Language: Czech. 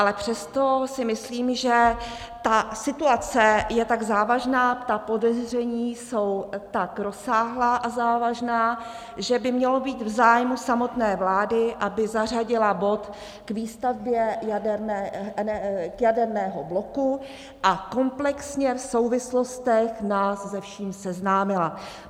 Ale přesto si myslím, že ta situace je tak závažná, ta podezření jsou tak rozsáhlá a závažná, že by mělo být v zájmu samotné vlády, aby zařadila bod k výstavbě jaderného bloku a komplexně v souvislostech nás se vším seznámila.